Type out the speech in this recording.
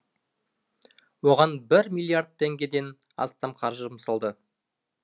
оған бір миллард теңгеден астам қаржы жұмсалды